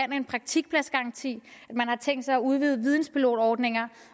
en praktikpladsgaranti at man har tænkt sig at udvide videnpilotordningen